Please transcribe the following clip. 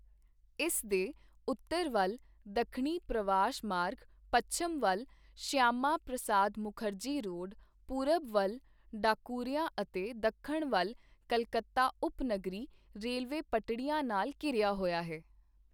ਇਸ ਦੇ ਉੱਤਰ ਵੱਲ ਦੱਖਣੀ ਪ੍ਰਵਾਸ਼ ਮਾਰਗ, ਪੱਛਮ ਵੱਲ ਸ਼ਿਆਮਾ ਪ੍ਰਸਾਦ ਮੁਖਰਜੀ ਰੋਡ, ਪੂਰਬ ਵੱਲ ਢਾਕੂਰੀਆ ਅਤੇ ਦੱਖਣ ਵੱਲ ਕੱਲਕੱਤਾ ਉਪਨਗਰੀ ਰੇਲਵੇ ਪਟੜੀਆਂ ਨਾਲ ਘਿਰਿਆ ਹੋਇਆ ਹੈ।